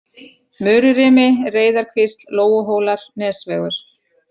Mururimi, Reyðarkvísl, Lóuhólar, Nesvegur